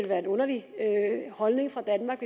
være en underlig holdning fra danmarks